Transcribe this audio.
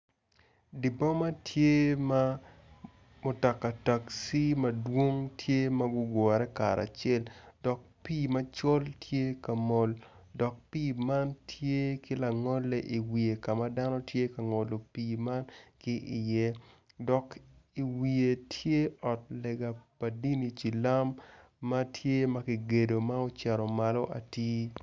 Di boma tye ma mutaka takci ma dwong tye ma gugure karacel dok pii macol tye ka mol dok pii man tye ki langole iwiye ka dano tye ka ngolo pii man ki iye dok iwiye tye ot lega pa dini cilam ma tye ma kigedo ma ocito malo atir